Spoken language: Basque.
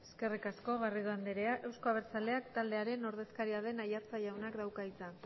eskerrik asko garrido andrea euzko abertzaleak taldearen ordezkaria den aiartza jaunak dauka hitza